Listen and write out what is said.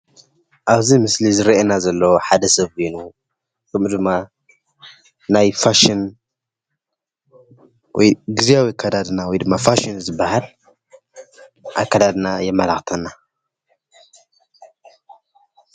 ኣብዚ ምስሊ ዝረአየና ዘሎ ሓደ ሰብ ኮይኑ ከምኡ ድማ ናይ ፋሽን ወይ ግዝያዊ ኣከዳድና ወይ ድማ ፋሽን ዝበሃል ኣከዳድና የመላኽተና።